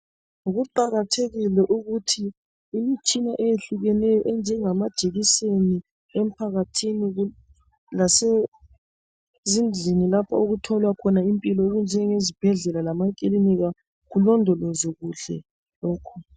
Kuqakathekile ukuthi imitshina eyehlukeneyo enjengamajekiseni emphakathini lasezindlini lapho okutholwa khona impilo okunjenge zibhedlela lama kilinika, kulondolozwe kuhle lokhu.